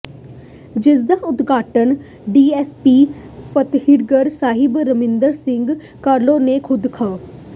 ਜਿਸਦਾ ਉਦਘਾਟਨ ਡੀਐੱਸਪੀ ਫ਼ਤਹਿਗੜ੍ਹ ਸਾਹਿਬ ਰਮਿੰਦਰ ਸਿੰਘ ਕਾਹਲੋਂ ਨੇ ਖੁਦ ਖ